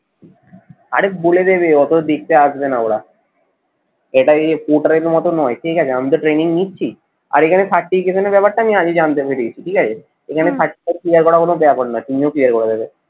আরে বলে দেবে অত দেখতে আসবে না ওরা এটা এই portal এর মত নই ঠিক আছে? আমি তো training নিচ্ছি আর এখানে certification এর ব্যাপার টা আমি আগে জানতে পেরে গেছি ঠিক আছে? এখানে clear করা কোনো ব্যাপার না, তুমিও clear করে দেবে